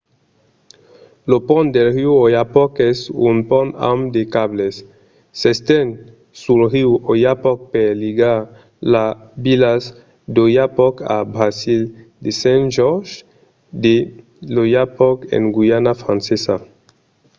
lo pont del riu oyapock es un pont amb de cables. s'esten sul riu oyapock per ligar las vilas d'oiapoque a brasil e saint-georges de l'oyapock en guaiana francesa